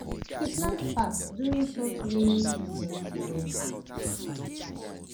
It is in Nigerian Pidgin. e plant fast during short rainy season season time